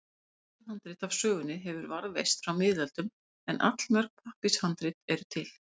Eitt skinnhandrit af sögunni hefur varðveist frá miðöldum en allmörg pappírshandrit eru til.